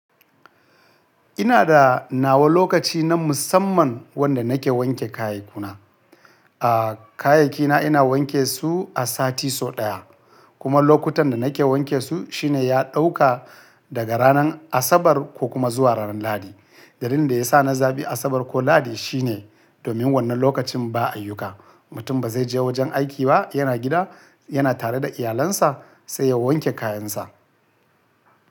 Ina da nawa lokaci na musamman wanda nake wanke kayikuna. Ah, kayakina ina wanke su a sati sau ɗaya kuma lokutan da nake wanke su shine ya ɗauka daga ranar Asabar ko kuma zuwa ranar Lahadi. Dalilin da yasa na zaɓi Asabar ko Lahadi shine domin wannan lokacin ba ayyuka. Mutum ba zai je wajan aiki ba, yana gida, yana tare da iyalansa sai ya wanke kayansa.